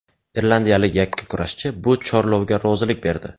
Irlandiyalik yakkakurashchi bu chorlovga rozilik berdi.